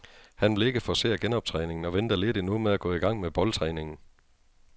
Han vil ikke forcere genoptræningen og venter lidt endnu med at gå i gang med boldtræningen.